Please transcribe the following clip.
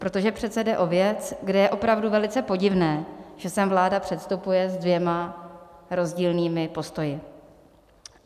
Protože přece jde o věc, kde je opravdu velice podivné, že sem vláda předstupuje s dvěma rozdílnými postoji.